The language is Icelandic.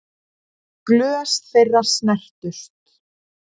Glös þeirra snertust.